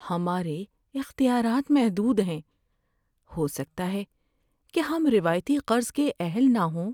ہمارے اختیارات محدود ہیں! ہو سکتا ہے کہ ہم روایتی قرض کے اہل نہ ہوں۔